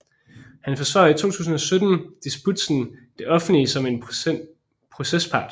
Han forsvarede i 2017 disputsen Det offentlige som procespart